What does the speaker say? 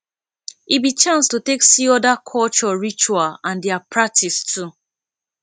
e be chance to take see oda culture ritual and dia practice too